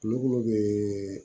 Kulokuru bɛ